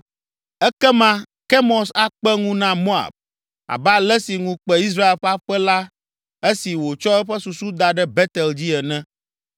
Ekema Kemos akpe ŋu na Moab, abe ale si ŋu kpe Israel ƒe aƒe la esi wòtsɔ eƒe susu da ɖe Betel dzi ene.’